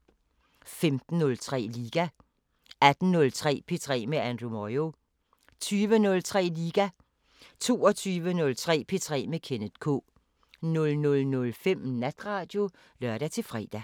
15:03: Liga 18:03: P3 med Andrew Moyo 20:03: Liga 22:03: P3 med Kenneth K 00:05: Natradio (lør-fre)